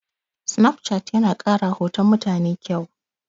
Sinafcat yana ƙarawa hoton mutane ƙyau.